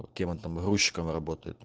кем он там грузчиком работает